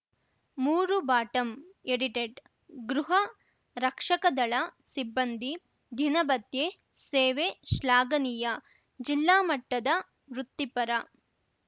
ಮೂರು bottom edited ಗೃಹ ರಕ್ಷಕದಳ ಸಿಬ್ಬಂದಿ ದಿನಭತ್ಯೆ ಸೇವೆ ಶ್ಲಾಘನೀಯ ಜಿಲ್ಲಾ ಮಟ್ಟದ ವೃತ್ತಿಪರ